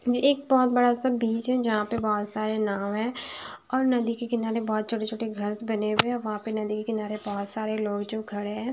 ये एक बहुत बड़ा-सा बीच है जहाँं पे बहुत सारे नाव है और नदी के किनारे बहुत छोटे-छोटे घर बने हुए हैं वहाँं पे नदी के किनारे जो बहुत सारे लोग जो खड़े हैं।